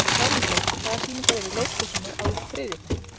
Hjálmþór, hvaða sýningar eru í leikhúsinu á þriðjudaginn?